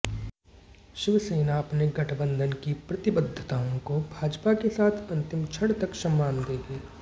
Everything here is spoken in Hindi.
शिवसेना अपने गठबंधन की प्रतिबद्धताओं को भाजपा के साथ अंतिम क्षण तक सम्मान देगी